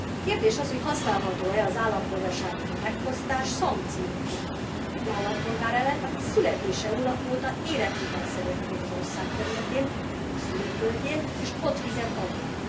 Kérdés az, hogy használható e az állampolgárságtól megfosztás szankcióként egy állampolgár ellen, aki születése óta életvitelszerűen él az ország területén, a szülőföldjén, és ott fizet adót.